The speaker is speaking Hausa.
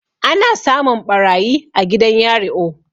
ana samun ɓarayi a gidan yario